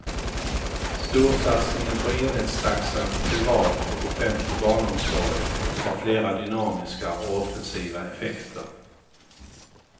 Storsatsningen på enhetstaxan i privat och offentlig barnomsorg har flera dynamiska och offensiva effekter.